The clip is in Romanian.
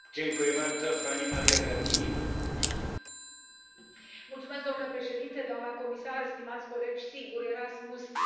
Domnule președinte, doamnă comisar, stimați colegi, sigur, Erasmus este un program foarte cunoscut și foarte iubit în toate statele membre.